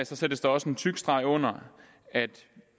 sættes der også en tyk streg under at vi